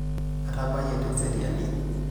Atabayie teseriani.